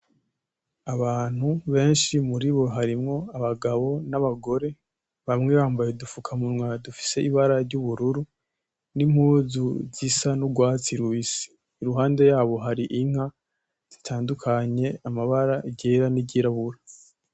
Abantu benshi muribo harimwo abagabo n’abagore bamwe bambaye udufukamunwa dufise ibara ry’ubururu n’impuzu zisa n’ugwatsi rubisi. Iruhande yabo hari inka zitandukanye amabara iryera n’iryirabura.